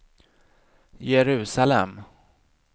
Jerusalem